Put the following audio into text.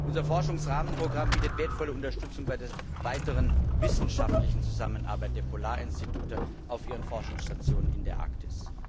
Unser Forschungsrahmenprogramm bietet wertvolle Unterstützung bei der weiteren wissenschaftlichen Zusammenarbeit der Polarinstitute auf ihren Forschungsstationen in der Arktis.